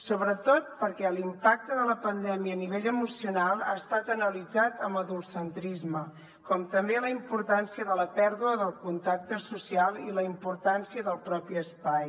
sobretot perquè l’impacte de la pandèmia a nivell emocional ha estat analitzat amb adultocentrisme com també la importància de la pèrdua del contacte social i la importància del propi espai